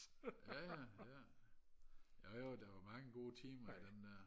ja ja ja jo jo der var mange gode timer i dem der